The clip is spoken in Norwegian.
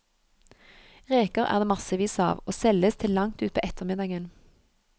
Reker er det massevis av, og selges til langt utpå ettermiddagen.